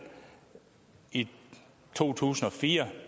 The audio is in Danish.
i to tusind og fire